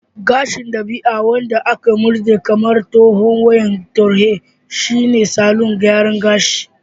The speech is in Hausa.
Gashin dabi'a wanda aka murɗe kamar tsohuwar wayar tarho shine salon gyara gashi